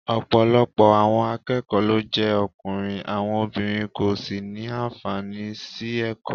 Ọ̀pọ̀lọpọ̀ àwọn akẹ́kọ̀ọ́ ló jẹ́ ọkùnrin, àwọn obìnrin kò sì ní àǹfààní sí ẹ̀kọ́